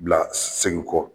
Bila segin kɔ